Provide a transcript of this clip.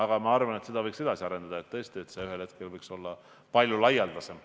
Kuid ma arvan, et seda võiks edasi arendada ja et ühel hetkel võiks see olla palju laialdasem.